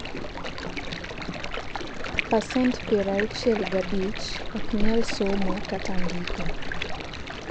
pasent piero auchiel gi abich ok nyal somo kat ndiko